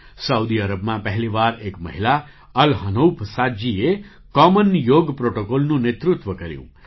Saudi અરબમાં પહેલી વાર એક મહિલા અલ હનૌફ સાદજીએ કૉમન યોગ પ્રૉટૉકૉલનું નેતૃત્વ કર્યું